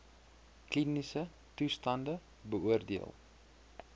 kliniese toestande beoordeel